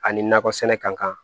Ani nakɔ sɛnɛ ka kan